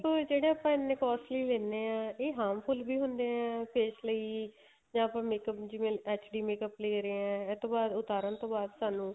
ਜਿਹੜੇ ਆਪਾਂ ਇੰਨੇ costly ਲੈਨੇ ਆ ਇਹ harmful ਵੀ ਹੁਣੇ ਏ face ਲਈ ਜਾਂ ਫੇਰ makeup ਜਿਵੇਂ HD makeup ਲੈ ਰਹੇ ਏ ਇਸ ਤੋਂ ਬਾਅਦ ਉਤਾਰਨ ਤੋਂ ਬਾਅਦ ਸਾਨੂੰ